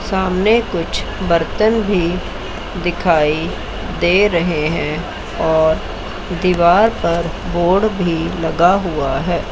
सामने कुछ बर्तन भी दिखाई दे रहे हैं और दीवार पर बोर्ड भी लगा हुआ है।